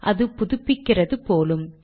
அது புதுப்பிக்கிறது போலும்